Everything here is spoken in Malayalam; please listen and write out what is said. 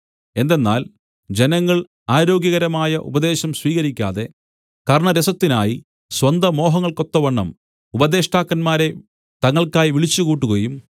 എന്തെന്നാൽ ജനങ്ങൾ ആരോഗ്യകരമായ ഉപദേശം സ്വീകരിക്കാതെ കർണ്ണരസത്തിനായി സ്വന്ത മോഹങ്ങൾക്കൊത്തവണ്ണം ഉപദേഷ്ടാക്കന്മാരെ തങ്ങൾക്കായി വിളിച്ചുകൂട്ടുകയും